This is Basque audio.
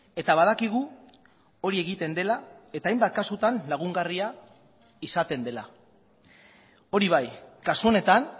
eta badakigu hori egiten dela eta hainbat kasutan lagungarria izaten dela hori bai kasu honetan